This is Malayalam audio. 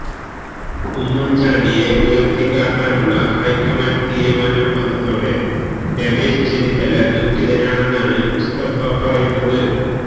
ഉമ്മൻ ചാണ്ടിയെ ഉയർത്തികാട്ടാനുള്ള ഹൈക്കമാൻഡ് തീരുമാനം വന്നതോടെ രമേശ് ചെന്നിത്തല ദുഃഖിതനാണെന്നാണ് മുസ്തഫ പറയുന്നത്